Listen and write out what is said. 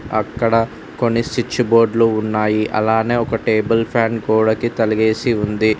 అక్కడ కొన్ని సిచ్చు బోర్డ్లు ఉన్నాయి అలానే ఒక టేబుల్ ఫ్యాన్ గోడకి తలిగేసి ఉంది.